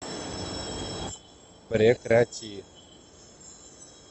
прекрати